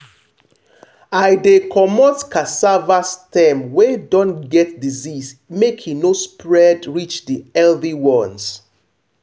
i dey comot cassava stem wey don get disease make e no spread reach the healthy ones.